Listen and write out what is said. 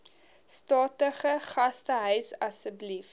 statige gastehuis asseblief